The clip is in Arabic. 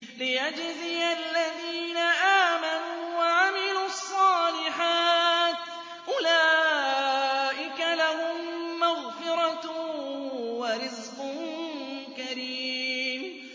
لِّيَجْزِيَ الَّذِينَ آمَنُوا وَعَمِلُوا الصَّالِحَاتِ ۚ أُولَٰئِكَ لَهُم مَّغْفِرَةٌ وَرِزْقٌ كَرِيمٌ